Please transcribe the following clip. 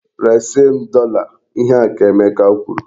Resi m dọla! Ihe a ka Emeka kwuru!